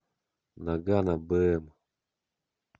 ноггано бм